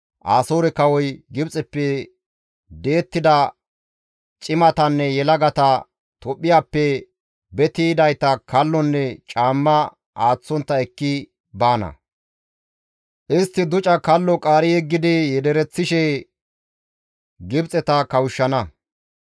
Asoore kawoy Gibxeppe di7ettida cimatanne yelagata, Tophphiyappe beti yidayta kallonne caamma aaththontta ekki baana; istti duca kallo qaari yeggidi yedereththishe Gibxeta kawushshana.